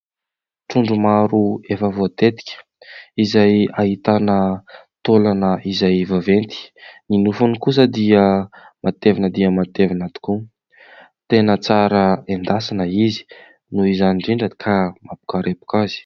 Trondro maro efa voatetika izay ahitana taolana izay vaventy. Ny nofony kosa dia metevina dia matevina tokoa. Tena tsara endasina izy noho izany indrindra ka mampikarepoka azy.